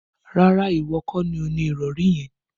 Rárá, ìwọ kọ́ ni o ni ìrọ̀rí yẹn